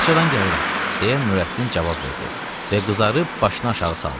Bağçadan gəlirəm, deyə Nurəddin cavab verdi və qızarıb başını aşağı saldı.